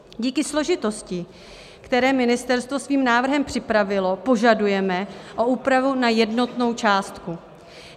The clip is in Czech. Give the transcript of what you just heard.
Díky složitosti, které ministerstvo svým návrhem připravilo, požadujeme o úpravu na jednotnou částku.